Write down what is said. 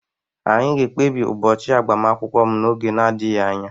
Anyị ga-ekpebi ụbọchị agbamakwụkwọ m n'oge adịghị anya